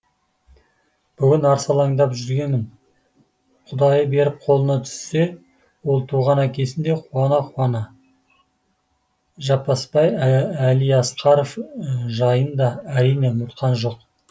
бүгін арсалаңдап жүргенім құдайы беріп қолына түссе ол туған әкесін де қуана қуана жаппасбай әлиасқаров жайын да әрине ұмытқан жоқ